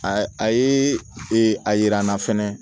A a ye a yira n na fɛnɛ